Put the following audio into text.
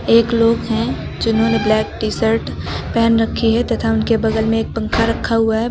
एक लोग हैं जिन्होंने ब्लैक टी-शर्ट पहन रखी है तथा उनके बगल में एक पंखा रखा हुआ है।